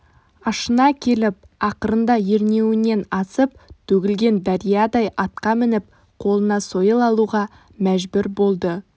ашына келіп ақырында ернеуінен асып төгілген дариядай атқа мініп қолына сойыл алуға мәжбүр болды